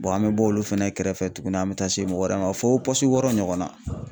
Bɔn an be bɔ olu fɛnɛ kɛrɛfɛ tuguni an be taa se mɔgɔ wɛrɛ ma fɔ pɔsi wɔɔrɔ ɲɔgɔnna